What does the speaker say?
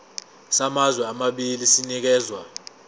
samazwe amabili sinikezwa